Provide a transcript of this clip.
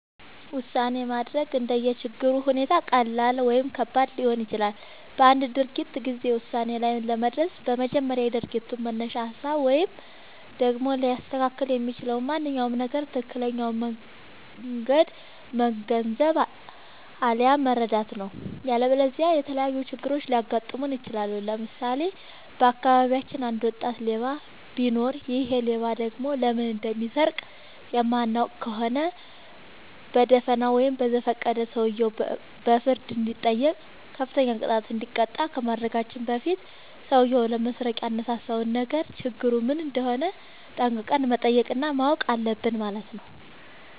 ውሳኔ ማድረግ እንደየ ችግሩ ሁኔታ ቀላል ወይም ከባድ ሊሆን ይችላል። በአንድ ድርጊት ጊዜ ውሳኔ ላይ ለመድረስ በመጀመሪያ የድርጊቱን መነሻ ሀሳብ ወይም ደግሞ ሊያስከትል የሚችለውን ማንኛውም ነገር ትክክለኛውን መንገድ መገንዘብ፣ አለያም መረዳት ነው።. ያለበለዚያ የተለያዩ ችግሮች ሊያጋጥሙን ይችላሉ። ለምሳሌ:- በአካባቢያችን አንድ ወጣት ሌባ ቢኖር ይሔ ሌባ ደግሞ ለምን እንደሚሰርቅ የማናውቅ ከሆነ በደፋናው ወይም በዘፈቀደ ሰውየው በፍርድ እንዲጠይቅ፤ ከፍተኛ ቅጣት እንዲቀጣ ከማድረጋችን በፊት ሠውዬው ለመስረቅ ያነሳሳውን ነገር ችግሩ ምን እንደሆነ ጠንቅቀን መጠየቅ እና ማወቅ አለብን ማለት ነው።